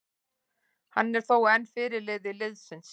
Hann er þó enn fyrirliði liðsins.